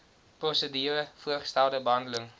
prosedure voorgestelde behandeling